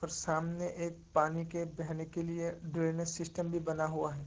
सामने एक पानी के बहने के लिए ड्रेनेज सिस्टम भी बना हुआ है।